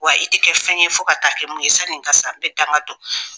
Wa i tɛ kɛ fɛn ye fo ka taa kɛ mun ye sanni n ka sa n bɛ danga don